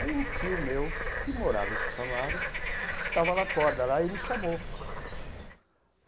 Aí, um tio meu, que morava em Santo Amaro, estava na corda lá e me chamou.